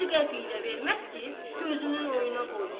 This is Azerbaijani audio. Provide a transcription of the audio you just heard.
Bir qəpik də verməz ki, gözünün oyuna qoysun.